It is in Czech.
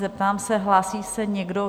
Zeptám se: Hlásí se někdo?